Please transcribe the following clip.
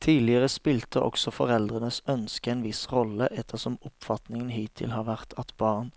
Tidligere spilte også foreldrenes ønske en viss rolle, ettersom oppfatningen hittil har vært at barn